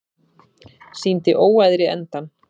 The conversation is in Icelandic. Sýndi óæðri endann